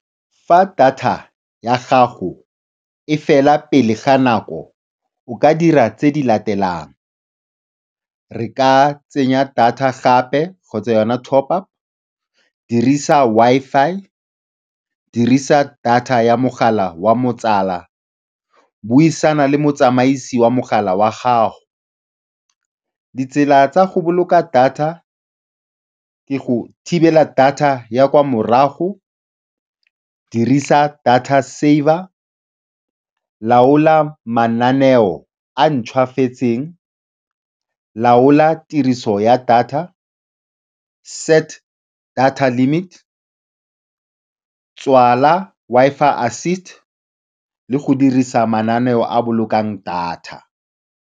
Fa data ya gago e fela pele ga nako, o ka dira tse di latelang, re ka tsenya data gape kgotsa yona top up, dirisa Wi-Fi, dirisa data ya mogala wa motswala, buisana le motsamaisi wa mogala wa gago. Ditsela tsa go boloka data ka go thibela data ya kwa morago, dirisa data saver, laola mananeo a a ntšhwafetseng, laola tiriso ya data, set data limit, tswala Wi-Fi assist le go dirisa mananeo a a bolokang data.